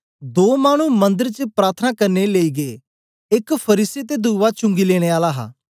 दो मानु मंदर च प्रार्थना करने लेई गै एक फरीसी ते दुवा चुंगी लेने आला हा